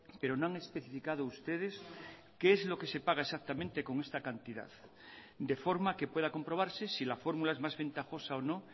pero no han especificado ustedes qué es lo que se paga exactamente con esta cantidad de forma que pueda comprobarse si la fórmula es más ventajosa o no